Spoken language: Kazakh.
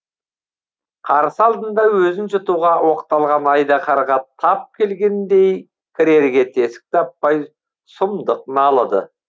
қарсы алдында өзін жұтуға оқталған айдаһарға тап келгендей кірерге тесік таппай сұмдық налыды